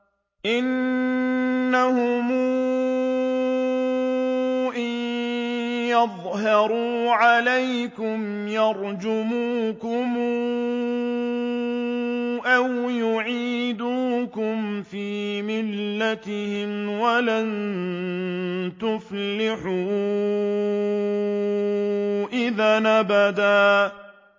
إِنَّهُمْ إِن يَظْهَرُوا عَلَيْكُمْ يَرْجُمُوكُمْ أَوْ يُعِيدُوكُمْ فِي مِلَّتِهِمْ وَلَن تُفْلِحُوا إِذًا أَبَدًا